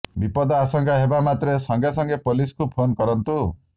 ବିପଦ ଆଶଙ୍କା ହେବା ମାତ୍ରେ ସଙ୍ଗେ ସଙ୍ଗେ ପୋଲିସକୁ ଫୋନ କରନ୍ତୁ